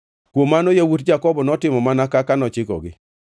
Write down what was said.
Kuom mano yawuot Jakobo notimo mana kaka nochikogi: